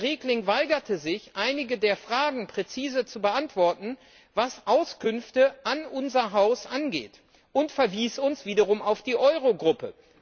Herr Regling weigerte sich, einige der Fragen präzise zu beantworten, was Auskünfte an unser Haus angeht, und verwies uns wiederum auf die Eurogruppe.